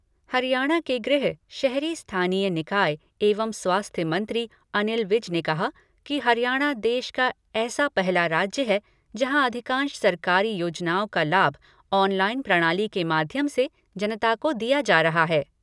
हरियाणा के गृह, शहरी स्थानीय निकाय एवं स्वास्थ्य मंत्री अनिल विज ने कहा कि हरियाणा देश का ऐसा पहला राज्य है, जहाँ अधिकांश सरकारी योजनाओं का लाभ ऑनलाइन प्रणाली के माध्यम से जनता को दिया जा रहा है।